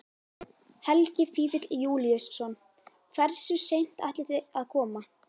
Helgi Vífill Júlíusson: Hversu seint ætlið þið að koma?